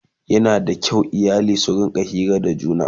Yana da kyau iyali su rinƙa Hira da juna